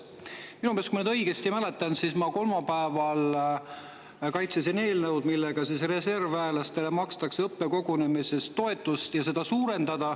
Minu meelest, kui ma nüüd õigesti mäletan, kolmapäeval ma kaitsesin eelnõu, et suurendada reservväelastele õppekogunemise eest makstavat toetust.